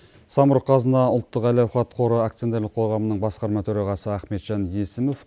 самұрық қазына ұлттық әл ауқат қоры акционерлік қоғамының басқарма төрағасы ахметжан есімов